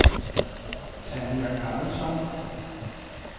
Tanja Karlsson